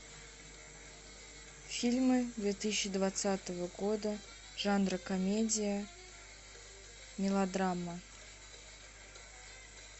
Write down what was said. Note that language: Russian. фильмы две тысячи двадцатого года жанра комедия мелодрама